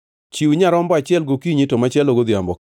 Chiw nyarombo achiel gokinyi to machielo godhiambo,